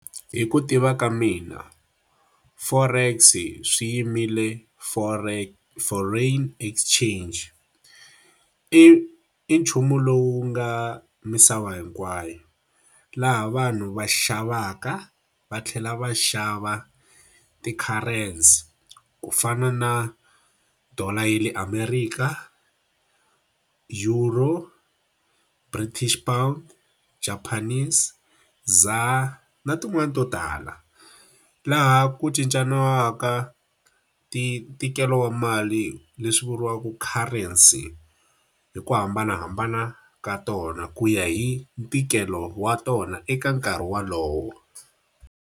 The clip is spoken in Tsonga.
Hi ku tiva ka mina Forex swi yimile foreign exchange. I i nchumu lowu nga misava hinkwayo, laha vanhu va xavaka va tlhela va xava ti-currency. Ku fana na dollar ya le Amerika, euro, British pound, Japanese, ZAR, na tin'wani to tala. Laha ku cincaniwaka ntikelo wa mali leswi vuriwaka currency hi ku hambanahambana ka tona, ku ya hi ntikelo wa tona eka nkarhi wolowo